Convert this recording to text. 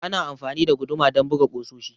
Ana amfani da guduma don buga kusoshi.